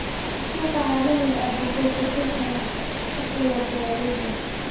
Suuqa caalamiga ah wuxuu kordhin karaa dakhliga beeralayda.